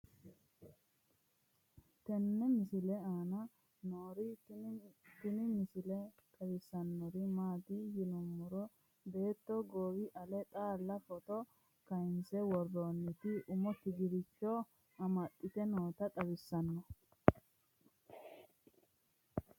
tenne misile aana noorina tini misile xawissannori maati yinummoro beetto goowi ale xaalla footto kayiinse woroonnitti umo tigirocho amaxxitte nootta xawissanno